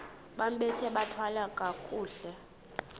bambathe bathwale kakuhle